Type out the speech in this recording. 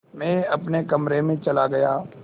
मैं अपने कमरे में चला गया